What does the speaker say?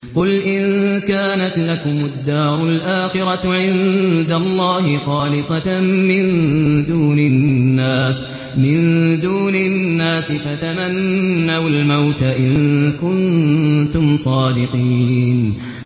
قُلْ إِن كَانَتْ لَكُمُ الدَّارُ الْآخِرَةُ عِندَ اللَّهِ خَالِصَةً مِّن دُونِ النَّاسِ فَتَمَنَّوُا الْمَوْتَ إِن كُنتُمْ صَادِقِينَ